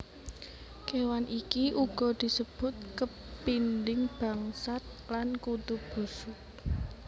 Kéwan iki uga disebut kepinding bangsat lan Kutu busuk